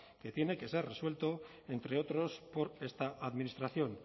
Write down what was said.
que tiene que ser resuelto entre otros por esta administración